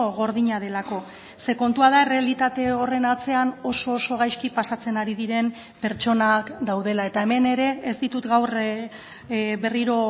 gordina delako ze kontua da errealitate horren atzean oso oso gaizki pasatzen ari diren pertsonak daudela eta hemen ere ez ditut gaur berriro